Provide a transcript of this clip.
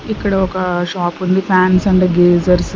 ఇక్కడ ఒక షాప్ ఉంది ఫాన్స్ అండ్ గేజర్స్ .